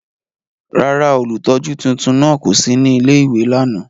Rárá, ólutọju tuntun náa ko si ni ìlé-ìwé làná.